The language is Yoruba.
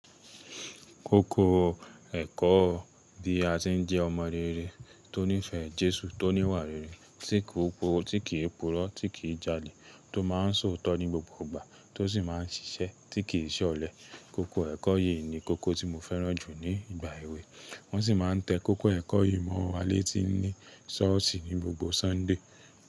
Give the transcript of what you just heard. Kókó ẹ̀kọ́ bí a ṣe ń jẹ́ ọmọ rere tó nífẹ̀ẹ́ Jésù, tó níwà rere, tí kì í purọ́, tí kì í jalè, tó máa ń sọ̀tọ̀ ní gbogbo ìgbà, tó sì máa ń ṣiṣẹ́, tí kì í ṣẹ ọ̀lẹ. Kókó ẹ̀kọ́ yìí ni kókó tí mo fẹ́ràn jù ní ìgbà èwe. Wọ́n sì máa ń tẹ kókó ẹ̀kọ́ yìí mọ́ wa létí ní ṣọ́ọ̀ṣì ní gbogbo Sunday.